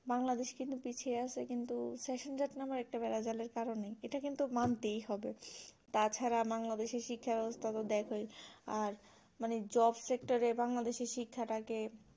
বাংলাদেশ কিন্তু পিছিয়ে আছে কিন্তু সেশনজট নামে একটা বেড়া জালের কারণেই ইটা কিন্তু মানতেই হবে তাছাড়া বাংলাদেশ এর শিক্ষা ব্যবস্থা গুলো দেখো আর মানে job sector এর বাংলাদেশ এর শিক্ষা টাকে